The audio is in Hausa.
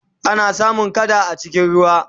ana samun kada a cikin ruwa